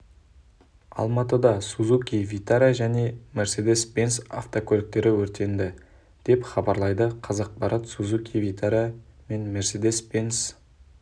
алматыда сузуки витара және мерседес бенц автокөліктері өртенді деп хабарлайды қазақпарат сузуки витара мен мерседес бенц